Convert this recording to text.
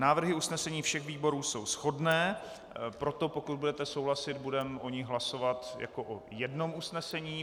Návrhy usnesení všech výborů jsou shodné, proto pokud budete souhlasit, budeme o nich hlasovat jako o jednom usnesení.